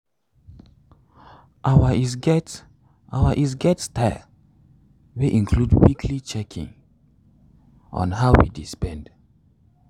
our is get our is get style dey include weekly checking on how we dey spend.